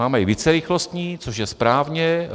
Máme i vícerychlostní, což je správně.